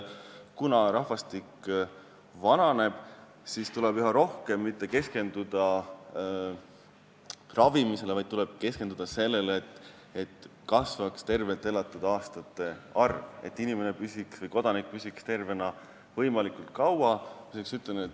Kuna rahvastik vananeb, tuleb meil üha rohkem mitte keskenduda ravimisele, vaid sellele, et kasvaks tervelt elatud aastate arv, et kodanik oleks terve võimalikult kaua.